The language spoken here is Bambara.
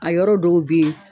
A yɔrɔ dɔw bɛ yen.